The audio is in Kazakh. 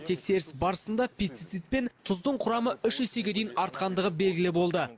тексеріс барысында пестицид пен тұздың құрамы үш есеге дейін артқандығы белгілі болды